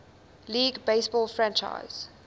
league baseball franchise